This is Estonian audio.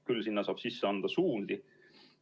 Küll saab sinna anda suundi.